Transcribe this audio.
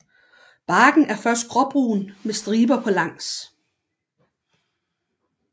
Barken er først gråbrun med striber på langs